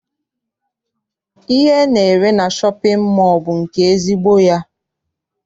Ihe ana-ere na shọpịn mọọ bụ nke ezigbo ya.